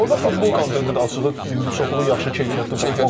Orda futbol kontenti də açığı indi çoxlu yaxşı keyfiyyətli baxmaq olmur.